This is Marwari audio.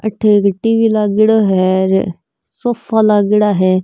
अठ एक टी.वी. लागेड़ो है सोफ़ा लागेड़ा है।